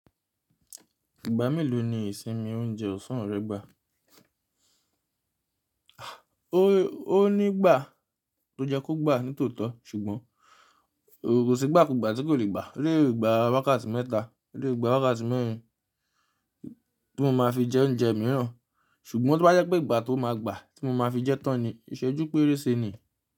Ìgbá mélòó ni ìsinmi oúnjẹ ọ̀sán rẹ gbà? O nígbà tó yẹ kó gbà ní tòótọ́ ṣùgbọ́n kò sí gbà kò gbà tí kò lè gbà. O lè gbà wákàtí mẹ́ta, o lè gbà wákàtí mẹ́rin tí mó máa fi jẹ oúnjẹ mìíràn. Ṣùgbọ́n tí wọ́n bá jẹ́ pé ìgbà tó máa gbà tí mó máa fi jẹ́ tán ni iṣẹ́ ojú pérése ni.